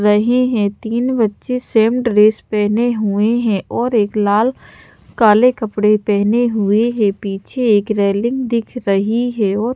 रहे हैं तीन बच्चे सेम ड्रेस पहने हुए हैं और एक लाल काले कपड़े पहने हुए है पीछे एक रेलिंग दिख रही है और--